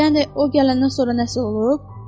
Yəni o gələndən sonra nəsə olub?